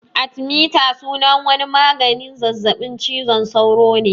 Artimiter sunan wani maganin zazzaɓin cizon sauro ne